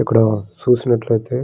ఇక్కడ చూసినట్లయితే--